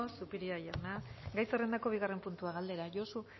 eskerrik asko zupiria jauna gai zerrendako bigarren puntua galdera josu